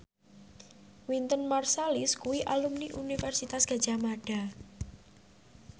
Wynton Marsalis kuwi alumni Universitas Gadjah Mada